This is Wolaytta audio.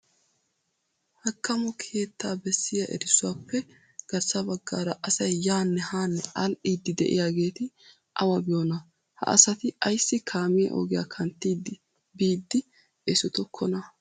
Hakkamo keettaa bessiya erissuwappe garssaa baggaara asay yaanne hanne aadhdhidi de'iyaageeti awa biyoona? Ha asati ayssi kaamiya ogiya kanttidi biidi esotokkona?